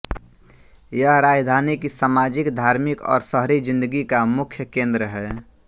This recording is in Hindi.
यह राजधानी की सामाजिक धार्मिक और शहरी जिन्दगी का मुख्य केन्द्र है